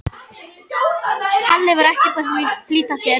Halli var ekkert að flýta sér.